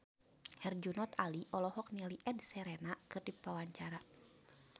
Herjunot Ali olohok ningali Ed Sheeran keur diwawancara